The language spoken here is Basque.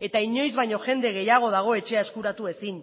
eta inoiz baino jende gehiago dago etxea eskuratu ezin